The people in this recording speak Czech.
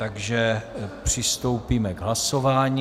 Takže přistoupíme k hlasování.